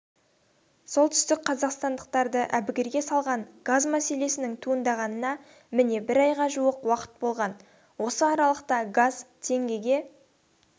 солтүстікқазақстандықтарды әбігерге салған газ мәселесінің туындағанына міне бір айға жуық уақыт болған осы аралықта газ теңгеге